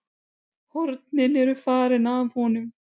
Hornin eru farin af honum.